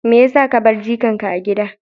Me ya sa ka bar jikanka a gida?